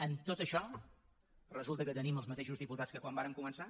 amb tot això resulta que tenim els mateixos diputats que quan vàrem començar